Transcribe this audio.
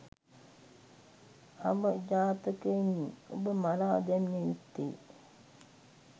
අවජාතකයිනි ඔබ මරා දැමිය යුත්තේ